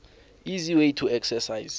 easy way to exercise